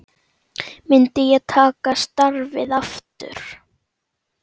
Myndi ég taka starfið aftur?